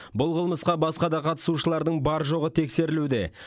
бұл қылмысқа басқа да қатысушылардың бар жоғы тексерілуде